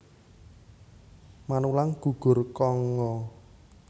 Manulang gugur Kongo